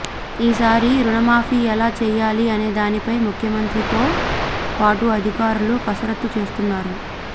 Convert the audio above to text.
ఈ సారి రుణమాఫీ ఎలా చేయాలి అనేదానిపై ముఖ్యమంత్రితో పాటు అధికారులు కసరత్తు చేస్తున్నారు